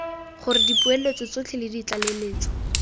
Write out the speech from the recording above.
gore dipoeletso tsotlhe le ditlaleletso